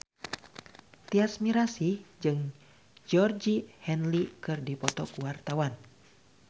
Tyas Mirasih jeung Georgie Henley keur dipoto ku wartawan